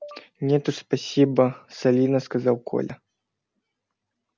нет уж спасибо солидно сказал коля